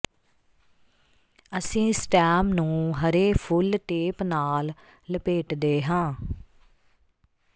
ਅਸੀਂ ਸਟੈਮ ਨੂੰ ਹਰੇ ਫੁੱਲ ਟੇਪ ਨਾਲ ਲਪੇਟਦੇ ਹਾਂ